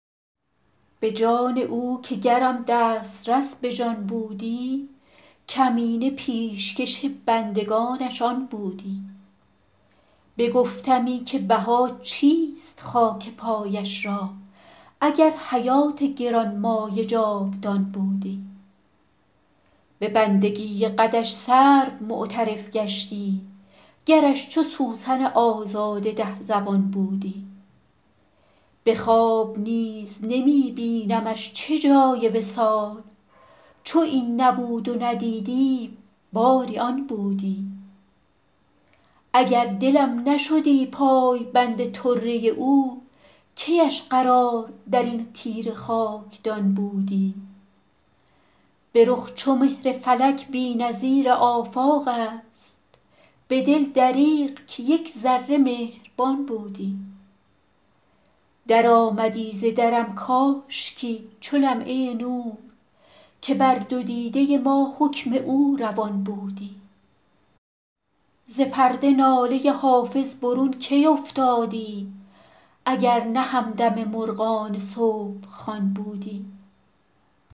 به جان او که گرم دسترس به جان بودی کمینه پیشکش بندگانش آن بودی بگفتمی که بها چیست خاک پایش را اگر حیات گران مایه جاودان بودی به بندگی قدش سرو معترف گشتی گرش چو سوسن آزاده ده زبان بودی به خواب نیز نمی بینمش چه جای وصال چو این نبود و ندیدیم باری آن بودی اگر دلم نشدی پایبند طره او کی اش قرار در این تیره خاکدان بودی به رخ چو مهر فلک بی نظیر آفاق است به دل دریغ که یک ذره مهربان بودی درآمدی ز درم کاشکی چو لمعه نور که بر دو دیده ما حکم او روان بودی ز پرده ناله حافظ برون کی افتادی اگر نه همدم مرغان صبح خوان بودی